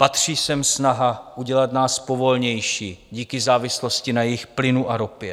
Patří sem snaha udělat nás povolnějšími díky závislosti na jejich plynu a ropě.